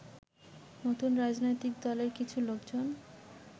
নতুন রাজনৈতিক দলের কিছু লোকজন